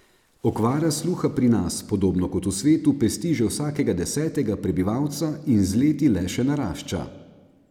Okvara sluha pri nas, podobno kot v svetu, pesti že vsakega desetega prebivalca in z leti le še narašča.